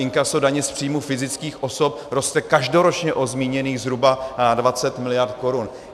Inkaso daně z příjmu fyzických osob roste každoročně o zmíněných zhruba 20 mld. korun.